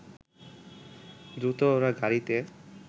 দ্রুত ওরা গাড়িতে